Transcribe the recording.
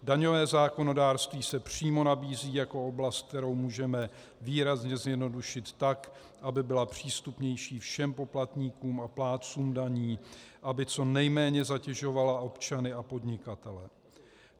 Daňové zákonodárství se přímo nabízí jako oblast, kterou můžeme výrazně zjednodušit tak, aby byla přístupnější všem poplatníkům a plátcům daní, aby co nejméně zatěžovala občany a podnikatele.